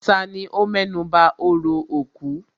Tani ó mẹ́nuba orò òkú?